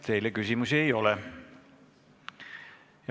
Teile küsimusi ei ole.